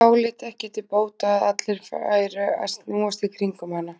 Áleit ekki til bóta að allir væru að snúast í kringum hana.